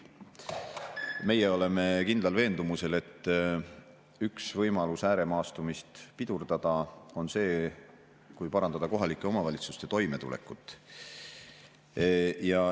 Meie oleme kindlal veendumusel, et üks võimalus ääremaastumist pidurdada on see, kui parandada kohalike omavalitsuste toimetulekut.